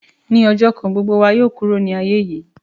Ní ọjọ̀ kan gbogbo wa yóò kúrò ni aiye yìí